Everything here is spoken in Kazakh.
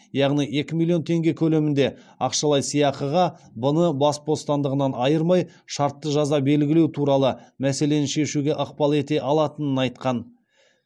яғни екі миллион теңге көлемінде ақшалай сыйақыға б ны бас бостандығынан айырмай шартты жаза белгілеу туралы мәселені шешуге ықпал ете алатынын айтқан